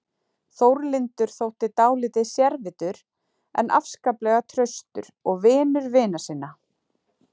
Þórlindur þótti dálítið sérvitur en afskaplega traustur og vinur vina sinna.